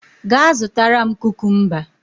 Gaa zụtara m kukumba!